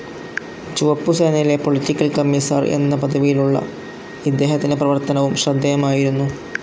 ചുവപ്പു സേനയിലെ political commissar എന്ന പദവിയിലുള്ള ഇദ്ദേഹത്തിന്റെ പ്രവർത്തനവും ശ്രദ്ധേയമായിരുന്നു.